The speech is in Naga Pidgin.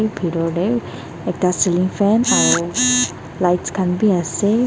bhi bithor teh ekta cealing fan aro lights khan bhi ase.